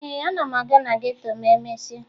Ee, ana m aga na geto ma emesịa